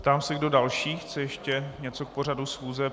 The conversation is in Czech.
Ptám se, kdo další chce ještě něco k pořadu schůze.